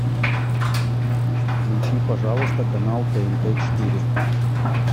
включи пожалуйста канал тнт четыре